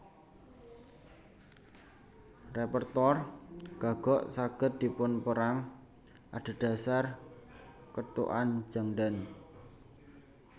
Repertoar gagok saged dipunperang adhedhasar ketukan jangdan